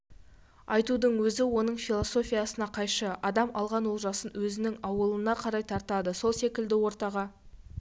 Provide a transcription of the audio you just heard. айтудың өзі оның философиясына қайшы адам алған олжасын өзінің ауылына қарай тартады сол секілді ортаға